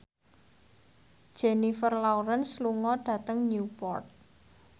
Jennifer Lawrence lunga dhateng Newport